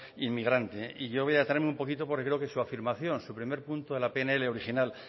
inmigrante yo voy a traerme un poquito porque creo que su afirmación su primer punto de la pnl original